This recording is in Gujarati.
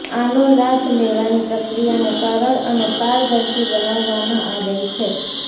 આનો લાભ લેવાની પ્રક્રિયાને સરળ અને પારદર્શી બનાવવામાં આવેલ છે